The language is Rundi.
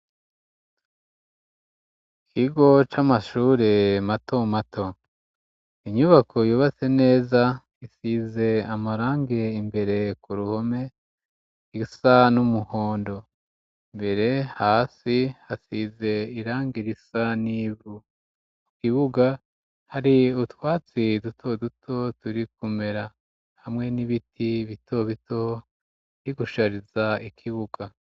Ikigo c'amashure mato mato, inyubako yubatse neza isize amarangi imbere ku ruhome isa n'umuhondo, imbere hasi, hasize irangi risa n'ivu, ku kibuga hari utwatsi duto duto turi kumera hamwe n'ibiti bito bito birigushariza ikibuga.